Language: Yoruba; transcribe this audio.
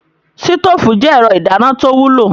Sítóòfù je ẹ̀rọ ìdáná tó wúlò.